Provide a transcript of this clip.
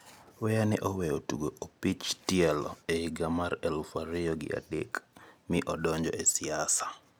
Picha: AFP Weah ne oweyo tugo opich tielo e higa mar elufu ariyo gi adek mi odonjo e siasa.